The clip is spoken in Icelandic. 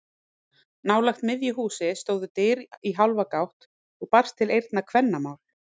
Nálægt miðju húsi stóðu dyr í hálfa gátt og barst til eyrna kvennamál.